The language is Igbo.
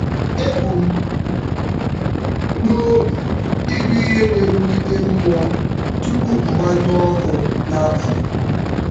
Ebu m n'obi ịgụ ihe na-ewulite mmụọ tupu m gbanyụọ ọkụ n'abalị.